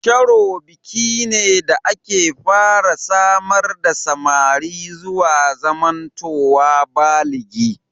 Sharo biki ne da ake fara samar da samari zuwa zamantowa baligi.